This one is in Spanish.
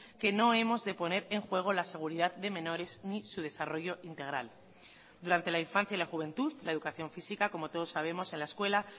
que no hemos de poner en juego la seguridad de menores ni su desarrollo integral durante la infancia y la juventud la educación física como todos sabemos en la escuela